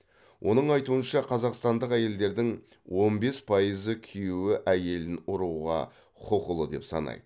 оның айтуынша қазақстандық әйелдердің он бес пайызы күйеуі әйелін ұруға құқылы деп санайды